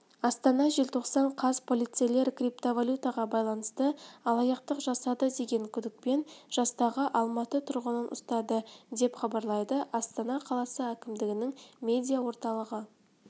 астана желтоқсан қаз полицейлер криптавалютаға байланысты алаяқтық жасады деген күдікпен жастағы алматы тұрғынын ұстады деп хабарлайды астана қаласы әкімдігінің медиа орталығы